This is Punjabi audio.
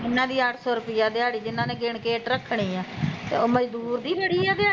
ਇਹਨਾਂ ਦਿ ਅੱਠ ਸੋ ਰੁਪਏ ਦਿਆੜੀ ਜਿਹਨਾਂ ਨੇ ਗਿਣ ਕੇ ਇੱਟ ਰੱਖਣੀ ਆ ਤੇ ਉਹ ਮਜ਼ਦੂਰ ਡੀ ਜਿਹੜੀ ਐ ਦਿਆੜੀ